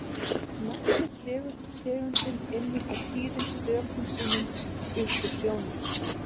nafn sitt dregur tegundin einmitt af tíðum stökkum sínum upp úr sjónum